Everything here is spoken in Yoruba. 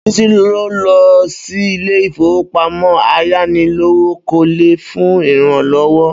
Bísí lọ sí ilé ìfowópamọ́ ayánilówókọ́lé fún ìrànlọ́wọ́